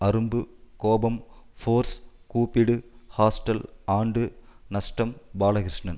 அரும்பு கோபம் ஃபோர்ஸ் கூப்பிடு ஹாஸ்டல் ஆண்டு நஷ்டம் பாலகிருஷ்ணன்